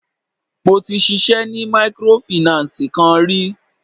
Mo ti ṣisẹ́ ni mikorofìnánsìì kan rí.